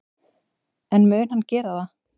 En mun hann gera það?